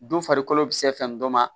Don farikolo bi se fɛn dɔ ma